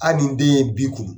ali ni den ye bi kunu